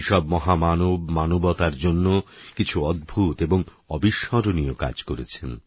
এই সব মহামানব মানবতার জন্য কিছু অদ্ভুত এবং অবিস্মরণীয় কাজ করেছেন